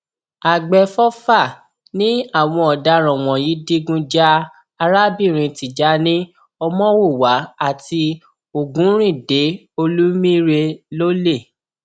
àgbẹfọfà ni àwọn ọdaràn wọnyí digun ja arábìnrin tijani ọmọwúwà àti ògúnríńde olùmíre lọlẹ